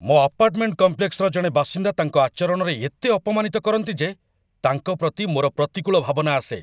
ମୋ ଆପାର୍ଟମେଣ୍ଟ କମ୍ପ୍ଲେକ୍ସର ଜଣେ ବାସିନ୍ଦା ତାଙ୍କ ଆଚରଣରେ ଏତେ ଅପମାନିତ କରନ୍ତି ଯେ ତାଙ୍କ ପ୍ରତି ମୋର ପ୍ରତିକୂଳ ଭାବନା ଆସେ।